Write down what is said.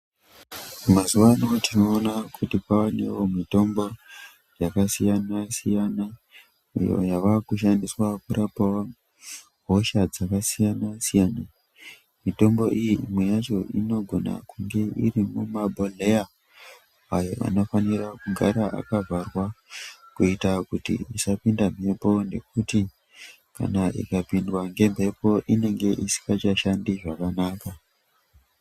Mazuwa ano tinoona kuti kwaanewo mitombo, yakasiyana-siyana ,iyo yavakushandiswa kurapa hosha dzakasiyana-siyana. Mitombo iyi imwe yacho inogona kunge iri mumabhobhedhleya ayo anofanira kugara akavharwa, kuita kuti isapinda mhepo ,nekuti kana ikapindwa ngemhepo, inenge isingachashandi zvakanaka.